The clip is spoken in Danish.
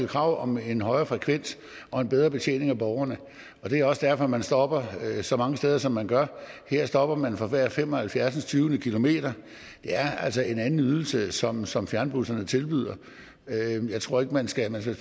krav om en højere frekvens og en bedre betjening af borgerne og det er også derfor man stopper så mange steder som man gør her stopper man for hver halvfjerdsindstyvende kilometer det er altså en anden ydelse som som fjernbusserne tilbyder jeg tror man skal passe